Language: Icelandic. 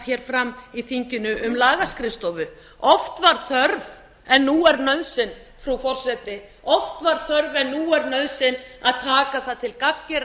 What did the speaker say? hér fram í þinginu um lagaskrifstofu oft var þörf en nú er nauðsyn frú forseti oft var þörf en nú er nauðsyn að taka það til gagngerrar